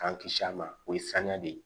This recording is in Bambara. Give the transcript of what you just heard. K'an kisi a ma o ye saniya de ye